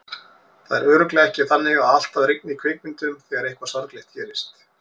Það er alveg örugglega ekki þannig að alltaf rigni í kvikmyndum þegar eitthvað sorglegt gerist.